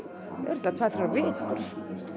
tvær þrjár vikur